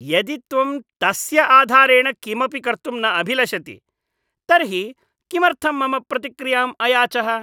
यदि त्वं तस्य आधारेण किमपि कर्तुं न अभिलषति तर्हि किमर्थं मम प्रतिक्रियाम् अयाचः?